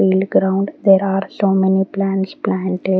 ground there are so many plants planted.